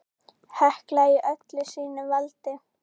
Hekla í öllu sínu valdi!